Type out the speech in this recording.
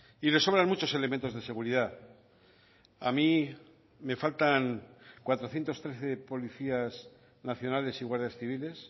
y le sobran muchos elementos de seguridad a mí me faltan cuatrocientos trece policías nacionales y guardias civiles